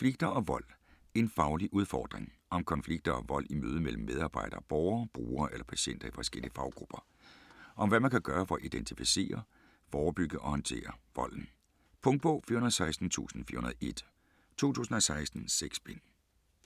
Konflikter og vold - en faglig udfordring Om konflikter og vold i mødet mellem medarbejdere og borgere, brugere eller patienter i forskellige faggrupper. Om hvad man kan gøre for at identificere, forebygge og håndtere volden. Punktbog 416401 2016. 6 bind.